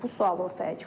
Bu sual ortaya çıxır.